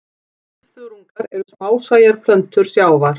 Svifþörungar eru smásæjar plöntur sjávar.